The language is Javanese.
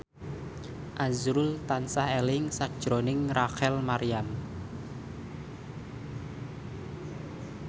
azrul tansah eling sakjroning Rachel Maryam